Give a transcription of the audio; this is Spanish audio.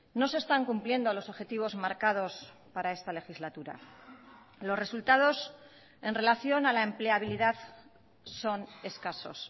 no se están cumpliendo los objetivos marcados para esta legislatura los resultados en relación a la empleabilidad son escasos